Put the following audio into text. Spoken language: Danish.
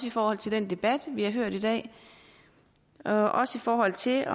i forhold til den debat vi har hørt i dag og også i forhold til